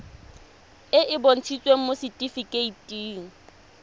e e bontshitsweng mo setifikeiting